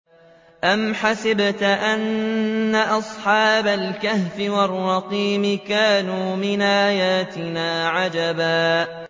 أَمْ حَسِبْتَ أَنَّ أَصْحَابَ الْكَهْفِ وَالرَّقِيمِ كَانُوا مِنْ آيَاتِنَا عَجَبًا